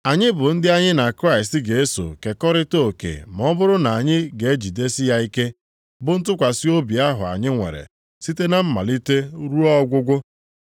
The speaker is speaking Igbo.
Anyị bụ ndị anyị na Kraịst ga-eso kekọrịta oke ma ọ bụrụ na anyị ga-ejidesi ya ike bụ ntụkwasị obi ahụ anyị nwere site na mmalite ruo ọgwụgwụ.